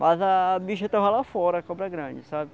Mas a a bicha estava lá fora, a cobra grande, sabe?